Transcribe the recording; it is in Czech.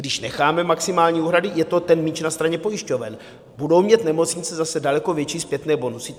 Když necháme maximální úhrady, je to ten míč na straně pojišťoven, budou mít nemocnice zase daleko větší zpětné bonusy.